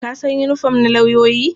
Ka san yinifom na lauyoyi?